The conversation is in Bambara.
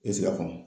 I bɛ se ka kɔnɔ